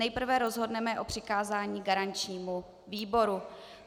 Nejprve rozhodneme o přikázání garančnímu výboru.